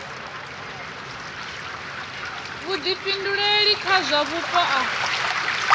vhuḓifhinduleli kha zwa vhupo a